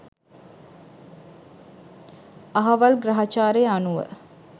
අහවල් ග්‍රහචාරය අනුව